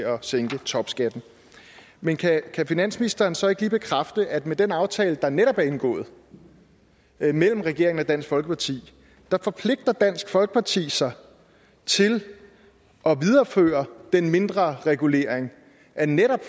at sænke topskatten men kan kan finansministeren så ikke lige bekræfte at med den aftale der netop er indgået mellem regeringen og dansk folkeparti forpligter dansk folkeparti sig til at videreføre den mindre regulering af netop